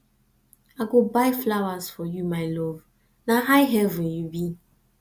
i go buy flowers for you my love na high heaven you be